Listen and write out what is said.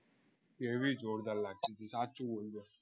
કેવી જોરદાર લાગતી સાચું બોલજે